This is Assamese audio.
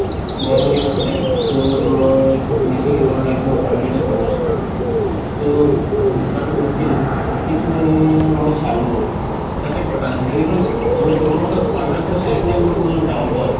গৰম দিন আছিলে ত মই বেচিকৈ গৰম লাগিছে মই ভাবিলো যে মই তৰমুজ খাম ত দুকানটো ৰখিলো ৰখিকিনে মই চালো তাতে কতা আছিলে কিন্তু তৰমুজৰ color তো চাই কিনে মোৰ doubt হল